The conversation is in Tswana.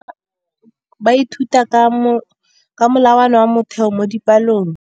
Baithuti ba ithuta ka molawana wa motheo mo dipalong.